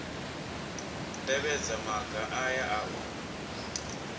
tevhedza maga aya a u